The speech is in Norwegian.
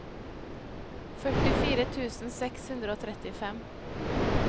førtifire tusen seks hundre og trettifem